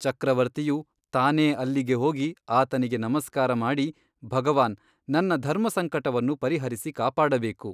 ಚಕ್ರವರ್ತಿಯು ತಾನೇ ಅಲ್ಲಿಗೆ ಹೋಗಿ ಆತನಿಗೆ ನಮಸ್ಕಾರ ಮಾಡಿ ಭಗವಾನ್ ನನ್ನ ಧರ್ಮಸಂಕಟವನ್ನು ಪರಿಹರಿಸಿ ಕಾಪಾಡಬೇಕು?